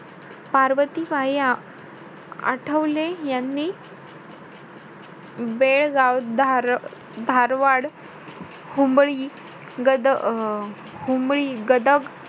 पार्वतीबाई आठवले यांनी बेळगाव, धार~ धारवाड, हुंबळी, गद~ अं हुंबळी गदक,